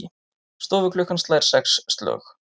Stofuklukkan slær sex slög.